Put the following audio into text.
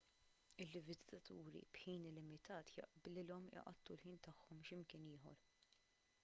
il-viżitaturi b'ħin limitat jaqblilhom iqattgħu il-ħin tagħhom x'imkien ieħor